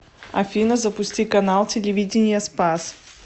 афина запусти канал телевидения спас